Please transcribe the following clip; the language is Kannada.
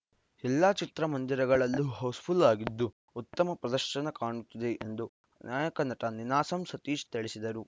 ಎಲ್ಲ ಚಿತ್ರಮಂದಿರಗಳಲ್ಲೂ ಹೌಸ್‌ಫುಲ್‌ ಆಗಿದ್ದು ಉತ್ತಮ ಪ್ರದರ್ಶನ ಕಾಣುತ್ತಿದೆ ಎಂದು ನಾಯಕ ನಟ ನೀನಾಸಂ ಸತೀಶ್‌ ತಿಳಿಸಿದರು